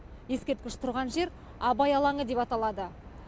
ескерткіш тұрған жер абай алаңы деп аталады